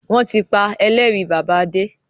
Wọn tí pa Ẹlẹ́rìí bàbá Adé